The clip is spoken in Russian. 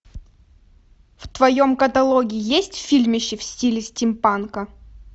в твоем каталоге есть фильмище в стиле стимпанка